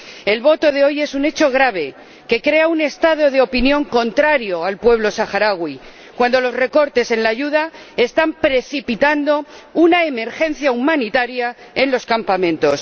El voto de hoy es un hecho grave, que crea un estado de opinión contrario al pueblo saharaui, cuando los recortes en la ayuda están precipitando una emergencia humanitaria en los campamentos.